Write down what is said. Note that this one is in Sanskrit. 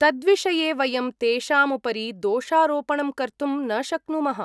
तद्विषये वयं तेषामुपरि दोषारोपणं कर्तुं न शक्नुमः।